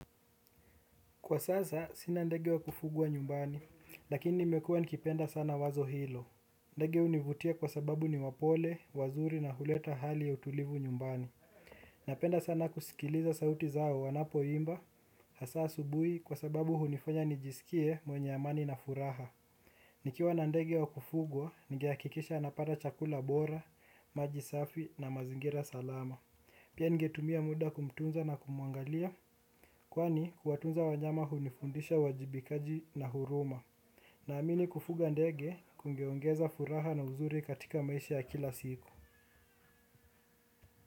Kwa sasa, sina ndege wakufugwa nyumbani, lakini nimekuwa nikipenda sana wazo hilo. Ndege hunivutia kwa sababu ni wapole, wazuri na huleta hali ya utulivu nyumbani. Napenda sana kusikiliza sauti zao wanapo imba, hasa asubuhi kwa sababu hunifanya nijisikie mwenye amani na furaha. Nikiwa na ndege wa kufugwa, ningehakikisha anapata chakula bora, maji safi na mazingira salama. Pia ningetumia muda wa kumtunza na kumuangalia, kwani kuwatunza wanyama hunifundisha uwajibikaji na huruma. Naamini kufuga ndege, kungeongeza furaha na uzuri katika maisha ya kila siku.